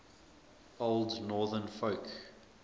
old northern folk